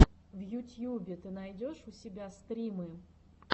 в ютьюбе ты найдешь у себя стримы